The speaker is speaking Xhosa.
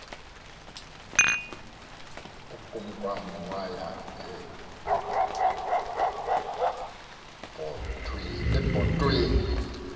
ukumkani waya ebhotweni